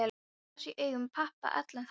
Bros í augum pabba allan þann dag.